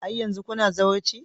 Har yanzu kuna zawarci?